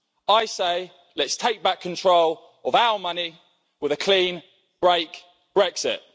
I say let's take back control of our money with a clean break Brexit.